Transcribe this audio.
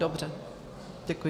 Dobře, děkuji.